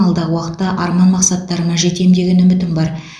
алдағы уақытта арман мақсаттарыма жетем деген үмітім бар